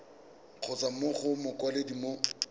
kgotsa mo go mokwaledi mo